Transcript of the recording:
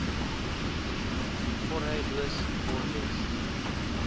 jorge luis borges